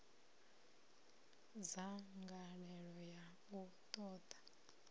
na dzangalelo ḽa u ṱoḓa